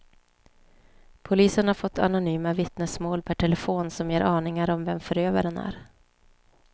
Polisen har fått anonyma vittnesmål per telefon som ger aningar om vem förövaren är.